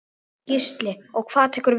Gísli: Og hvað tekur við?